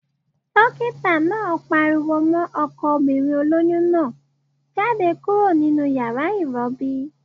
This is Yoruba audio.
Dókítà náà pariwo mọ́ ọkọ obìnrin olóyún náà "jáde kúrò nínu yàrá ìrọbí!"